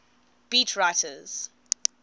beat writers